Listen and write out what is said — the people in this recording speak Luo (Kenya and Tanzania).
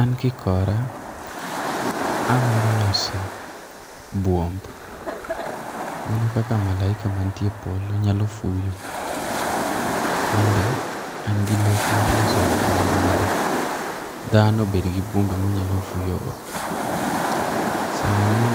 An kikora, agombo loso buomb mana kaka malaika mantie polo nyalo fuyo. An be an gi lek mar loso buomb mondo dhano obed gi buomb ma onyalo fuyogo. Sani